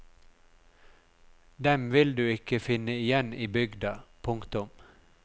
Dem vil du ikke finne igjen i bygda. punktum